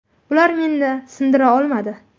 Ular meni sindira olmadi.